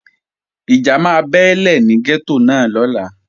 Ìjà máa ṣẹlẹ̀ ní gẹ́tò náà lọ́la